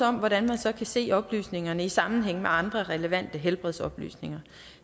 om hvordan man så kan se oplysningerne i sammenhæng med andre relevante helbredsoplysninger